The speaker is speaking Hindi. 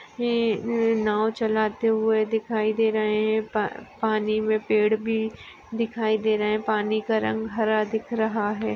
ये ये नाव चलाते हुए दिखाई दे रहे है पा पाणी मे पेड भी दिखाई दे रहे है पाणी का रंग हरा दिख रहा है।